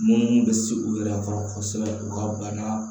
Minnu bɛ se u yɛrɛ kɔrɔ kosɛbɛ u ka bana